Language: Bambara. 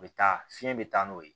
U bɛ taa fiɲɛ bɛ taa n'o ye